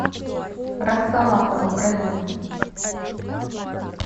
роксолана украина